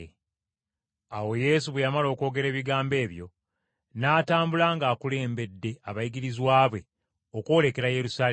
Awo Yesu bwe yamala okwogera ebigambo ebyo, n’atambula ng’akulembedde abayigirizwa be okwolekera Yerusaalemi.